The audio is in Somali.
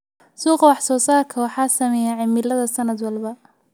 Suuqa wax soo saarka waxaa saameeya cimilada sanad walba.